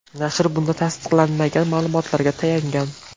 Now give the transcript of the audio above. Nashr bunda tasdiqlanmagan ma’lumotlarga tayangan.